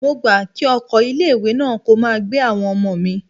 Mo gbà kí ọkọ̀ ilé ìwé náà kó máa gbé àwọn ọmọ mi.